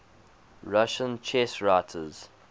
russian chess writers